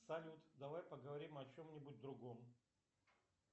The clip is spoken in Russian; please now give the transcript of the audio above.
салют давай поговорим о чем нибудь другом